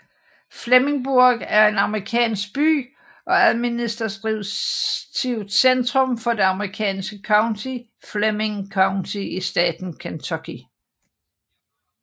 Flemingsburg er en amerikansk by og administrativt centrum for det amerikanske county Fleming County i staten Kentucky